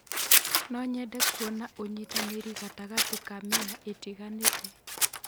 No nyende kuona ũnyitanĩri gatagatĩ ka mĩena ĩtiganĩte.